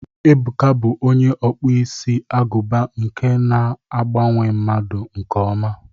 Ebuka bụ onye ọkpụ isi agụba nke na agbanwe mmadụ nke ọma.